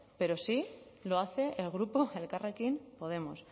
pero sí lo hace el grupo elkarrekin podemos